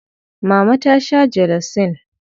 Mama ta sha jelosin.